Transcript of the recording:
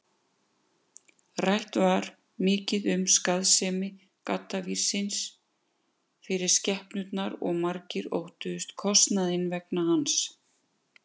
Rætt var mikið um skaðsemi gaddavírsins fyrir skepnurnar og margir óttuðust kostnaðinn vegna hans.